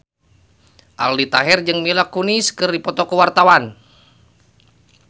Aldi Taher jeung Mila Kunis keur dipoto ku wartawan